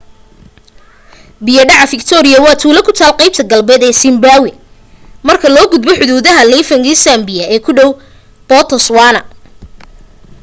biya dhaca fiktooriya waa tuulo ku taal qaybta galbeed ee siimbaawi markaa laga gudbo xuduuda livingstone zambia ee ku dhow botoswaana